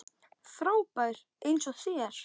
Frábær eins og þér.